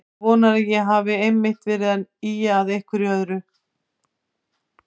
Þú vonar að ég hafi einmitt verið að ýja að einhverju öðru.